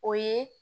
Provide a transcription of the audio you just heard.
O ye